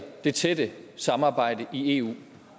det tætte samarbejde i eu